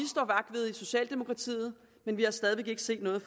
socialdemokratiet men vi har stadig væk ikke set noget